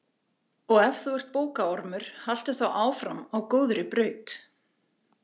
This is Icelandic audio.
Og ef þú ert bókaormur, haltu þá áfram á góðri braut.